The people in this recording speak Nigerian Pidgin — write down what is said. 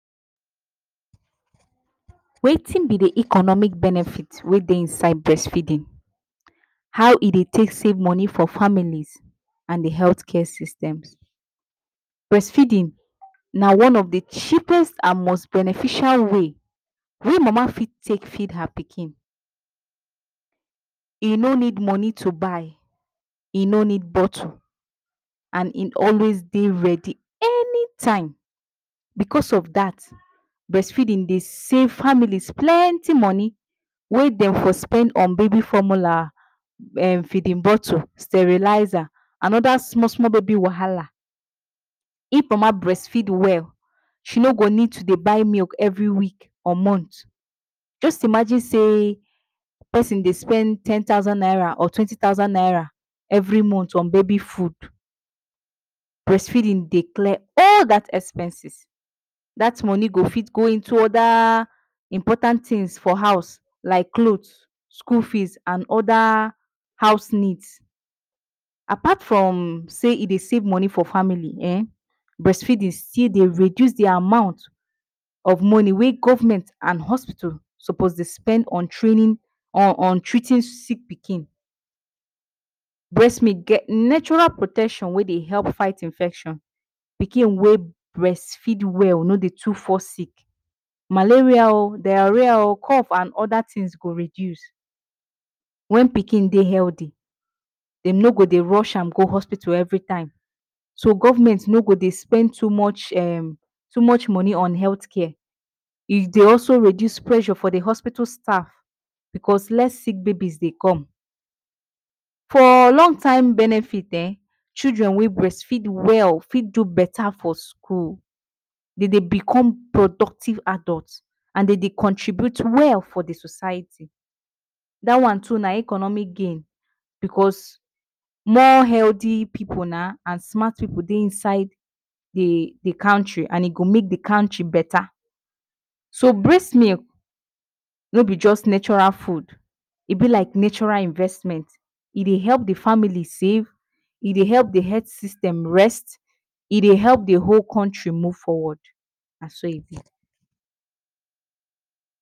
Wetin be the economic benefit wey dey inside brest feedin, how e dey take save moni for families and health care systems? Brest feedin na one of the cheapest and most beneficial way wey mama fit take feed her pikin, e no need moni to buy, e no need botle and e always dey readi any time because of dat, brest feeding dey save famili plenti moni wey den for spend on baby formular, feedin bottle, steriliza, anoda small-small baby wahala. If mama brest feed well, she no go need to buy milk every week or month. Just imagin sey pesin dey spend ten thousand naira or twenty thousand naira every month on baby fud, brest feedin dey clear all dat expenses, dat moni go fit go into oda important tin for house like clot, skul feed and oda house need. Apart from sey e dey save moni fo famili ehn, brest feedin still dey reduce the amount of moni wey government and hospital sopos dey spend on treating sick pikin. Brest milk get natural protection wey dey help fight infection, pikin wey brest feed well no dey too fall sick. Malaria o, diareer, cough and oda tins go reduce wen pikin dey healthy. Dem no go dey rush am dey go hospital everytime, so government no go dey spend too much moni on health care, e dey also reduce pressur for the hospital staff because less sick baby dey come. For long time benefit ehn, children wey brest feed well, fit do beta for skul, de dey become productive adult and de dey contribute well for the society and dat one too na economic gain. Because more healthy and smart pipu na dey inside the country and e go make the country beta. So brest milk no be just natural fud, e be like natural investment, e dey help the famili save, e dey help the health system rest, e dey help the whole country move forward, na so.